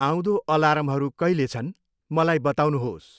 आउँँदो अलार्महरू कहिले छन्? मलाई बताउनुहोस्।